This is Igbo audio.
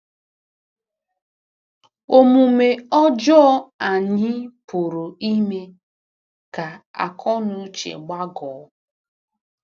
Omume ọjọọ anyị pụrụ ime ka akọnuche gbagọọ.